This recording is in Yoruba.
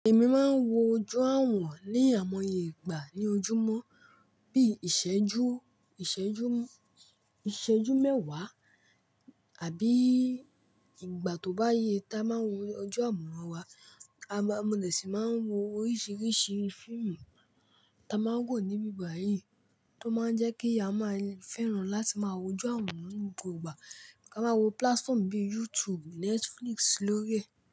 Èmi máa ń wo ojú àwọ̀n ní àwọn ìgbà ní ojúmọ́ bí i ìṣẹ́jú, ìṣẹ́jú, ìṣẹ́jú mẹ́wàá àbí ìgbà tó bá yẹ tá a máa ń wo ojú àmoran wa. A máa, mo de sì máa ń wo oríṣiríṣi fíìmù tá a máa ń wò nibi bayìí tó máa ń jẹ́ kí a máa fẹ́ràn láti máa wo ojú àwọ̀n ní gbogbo ìgbà. Ká máa wo platform bí i YouTube, Netflix lórí ẹ̀